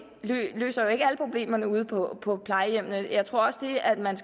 løser alle problemerne ude på på plejehjemmene jeg tror også at det man